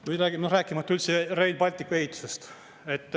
Või rääkimata üldse Rail Balticu ehitusest.